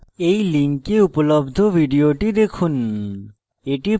এই link উপলব্ধ video দেখুন